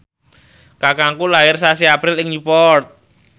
kakangku lair sasi April ing Newport